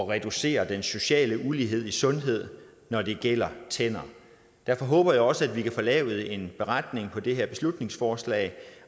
reducere den sociale ulighed i sundhed når det gælder tænder derfor håber jeg også at vi kan få lavet en beretning på det her beslutningsforslag